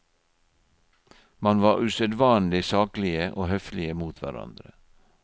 Man var usedvanlig saklige og høflige mot hverandre.